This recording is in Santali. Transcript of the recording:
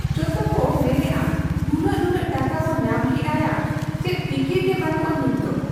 ᱡᱚᱛᱚᱠᱚ ᱢᱮᱱᱮᱜ ᱟ ᱱᱩᱱᱟᱹᱜ ᱱᱩᱱᱟᱹᱜ ᱴᱟᱠᱟᱵᱚ ᱧᱟᱢ ᱠᱮᱜ ᱟ ᱭᱟ ᱪᱮᱫ ᱯᱷᱤᱠᱤᱨ ᱜᱮ ᱵᱟᱹᱱᱩᱜ ᱟ ᱱᱤᱛᱫᱚ ᱾